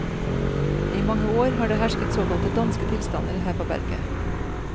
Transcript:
I mange år har det hersket såkalte danske tilstander her på berget.